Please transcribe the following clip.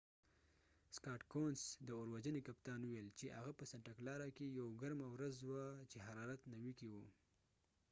د اور وژنی کپتان سکاټ کونس scott couns وويل چې هغه په سنټا کلارا santa clara کې یوه ګرمه ورڅ وه چې حرارت 90 کې و